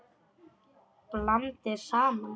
Blandið saman.